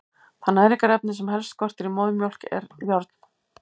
Það næringarefni sem helst skortir í móðurmjólk er járn.